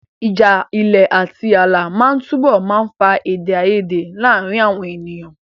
Ìjà ilẹ̀ àti ààlà máa túbọ̀ máa fa èdè àìyedè láàárín àwọn ènìyàn.